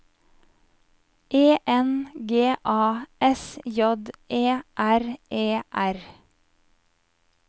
E N G A S J E R E R